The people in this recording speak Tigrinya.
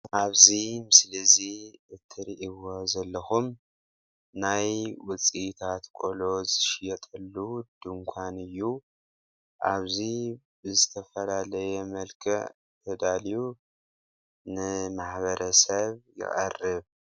ኣብዚ ምስሊ እዙይ እትሪእዎ ዘለኹም ናይ ውፅኢታት ቆሎ ዝሽየጠሉ ድንኳን እዩ፡፡ ኣብዚ ብዝተፈላለየ መልክዕ ተዳልዩ ንማሕበረሰብ ይቐርብ፡፡